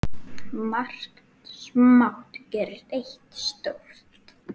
Margt smátt gerir eitt stórt